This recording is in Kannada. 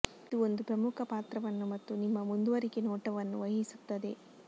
ಇದು ಒಂದು ಪ್ರಮುಖ ಪಾತ್ರವನ್ನು ಮತ್ತು ನಿಮ್ಮ ಮುಂದುವರಿಕೆ ನೋಟವನ್ನು ವಹಿಸುತ್ತದೆ